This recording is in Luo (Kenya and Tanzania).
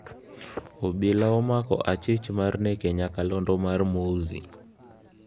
Obila omako achich mar nek e Nyakalondo mar Mowzey